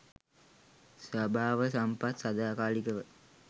ස්වභාව සම්පත් සදාකාලිකව